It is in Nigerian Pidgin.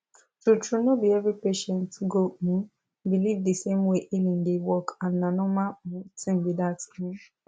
true true no be every patient go um believe the same way healing dey work and na normal um thing be that um